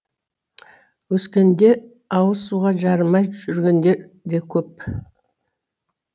өскеменде ауыз суға жарымай жүргендер де көп